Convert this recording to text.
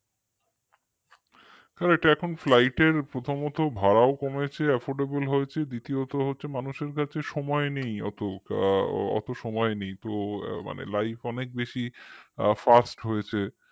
আর এটা এখন flight এর প্রথমত ভাড়াও কমেছে affordable হয়েছে দ্বিতীয়ত মানুষের কাছে সময় নেই ওতো আ অত সময় নেই মানে life অনেক বেশি fast হয়েছে